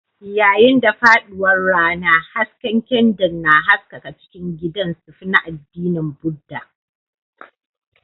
Yayin da faɗuwar rana, hasken kyandir na haskaka cikin gidan sufi na addinin Buddha.